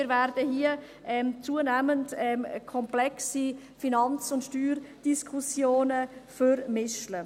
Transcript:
Wir werden hier zunehmend komplexe Finanz- und Steuerdiskussionen vermischen.